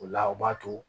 O la o b'a to